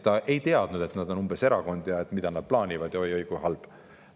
Ta ei teadnud, et nad on erakond ja mida nad plaanivad, oi-oi, kui halb.